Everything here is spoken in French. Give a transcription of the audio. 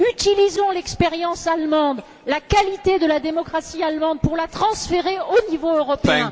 Utilisons l'expérience allemande, la qualité de la démocratie allemande pour la transférer au niveau européen.